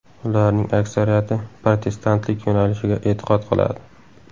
Ularning aksariyati protestantlik yo‘nalishiga e’tiqod qiladi.